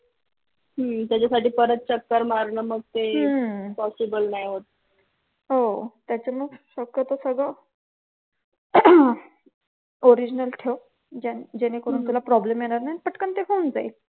त्याच्यासाठी परत चक्कर मारणं मग ते possible नाही होत. हो त्यामुळे शक्यतो सगळं original ठेव जेणेकरून तुला problem येणार नाही आणि पटकन ते होऊन जाईल.